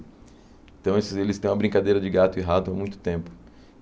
Então, esses eles têm uma brincadeira de gato e rato há muito tempo.